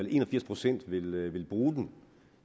en og firs procent vil vil bruge den